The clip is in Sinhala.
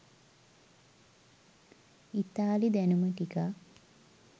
ඉතාලි දැනුම ටිකක්